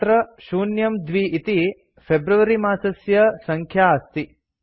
अत्र 02 इति फेब्रुअरी मासस्य सङ्ख्या अस्ति